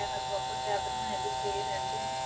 ਹੋਇਆ proper cabin ਬਣਿਆ ਜਿੱਥੇ ਇਹ ਰਹਿੰਦੇ ਨੇ,